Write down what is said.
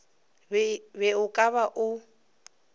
be o ka ba o